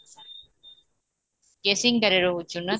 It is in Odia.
କେସିଙ୍ଗା ରେ ରହୁଚୁ ନା